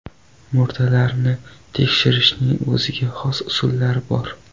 Murdalarni tekshirishning o‘ziga xos usullari bor.